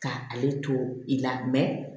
Ka ale to i la